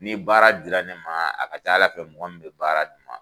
Ni baara dira ne ma a ka ca Ala fɛ mɔgɔ min bɛ baara di ne ma.